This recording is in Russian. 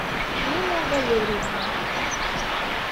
нина валерьевна